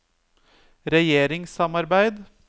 regjeringssamarbeid